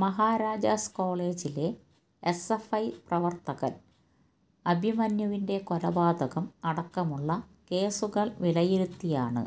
മഹാരാജാസ് കോളേജിലെ എസ്എഫ്ഐ പ്രവര്ത്തകന് അഭിമന്യൂവിന്റെ കൊലപാതകം അടക്കമുള്ള കേസുകള് വിലയിരുത്തിയാണ്